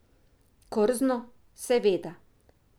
Krzno, seveda.